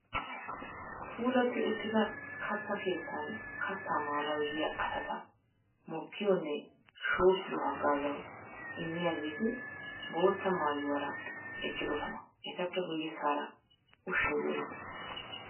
Puulatti uttida katta keettan kattaa maanawu yiya asata mokkiyo nne shoobbiyo haggaazuwa immiyageeti bootta maayuwara eqqidosona. Etappe guyyessaara ushshay doorettiis.